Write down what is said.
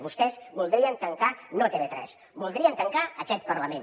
vostès voldrien tancar no tv3 voldrien tancar aquest parlament